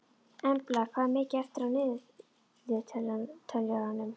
Embla, hvað er mikið eftir af niðurteljaranum?